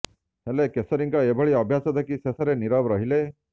ହେଲେ କେଶରୀଙ୍କ ଏଭଳି ଅଭ୍ୟାସ ଦେଖି ଶେଷରେ ନିରବ ରହିଲେ